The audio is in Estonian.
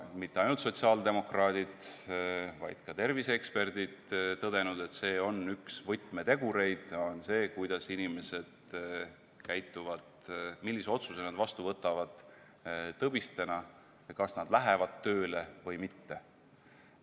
... mitte ainult sotsiaaldemokraadid, vaid ka terviseeksperdid tõdenud – see on üks võtmetegureid – on see, kuidas inimesed käituvad, millise otsuse nad vastu võtavad tõbistena ja kas nad lähevad tööle või mitte.